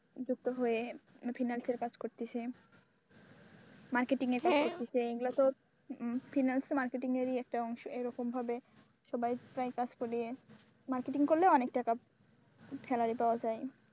যুক্ত হয়ে finance কাজ করতেছে মার্কেটিং এর কাজ করতেছে এগুলো সব finance এ marketing এর একটা অংশ এরকম ভাবে সবাই প্রায় কাজ করে marketing করলে অনেক টাকা salary পাওয়া যায়।